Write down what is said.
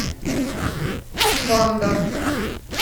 кондор